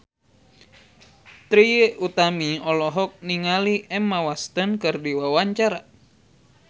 Trie Utami olohok ningali Emma Watson keur diwawancara